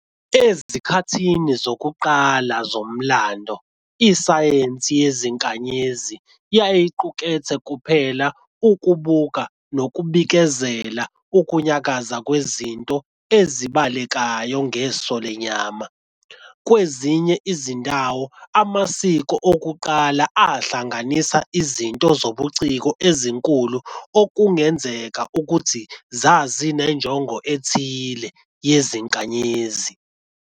Ezikhathini zokuqala zomlando, isayensi yezinkanyezi yayiqukethe kuphela ukubuka nokubikezela ukunyakaza kwezinto ezibonakalayo ngeso lenyama. Kwezinye izindawo, amasiko okuqala ahlanganisa izinto zobuciko ezinkulu okungenzeka ukuthi zazinenjongo ethile yezinkanyezi.